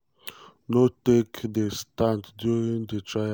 no take di stand during di trial.